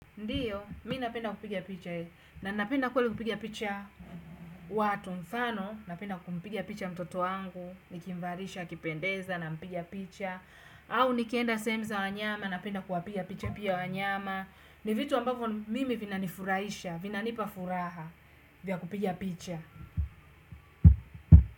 Ndiyo, mimi ninapenda kupigia picha, na ninapenda kweli kupiga picha watu mfano, ninapenda kumpiga picha mtoto wangu, nikimvalisha, akipendeza, nampiga picha, au nikienda sehemu za wanyama, napenda kuwapigia picha pia wanyama, ni vitu ambavyo mimi vinanifuraisha, vinanipa furaha, vya kupigia picha.